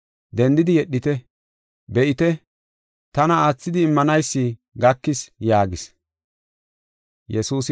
Dendidi yedhite; be7ite, tana aathidi immanaysi gakis” yaagis.